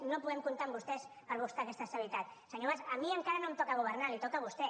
no podem comptar amb vostès per buscar aquesta estabilitat senyor mas a mi encara no em toca governar li toca a vostè